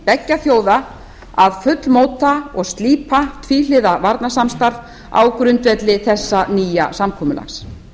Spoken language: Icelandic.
beggja þjóða að fullmóta og slípa tvíhliða varnarsamstarf á grundvelli þessa nýja samkomulags